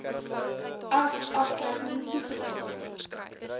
as aftrekking toegelaat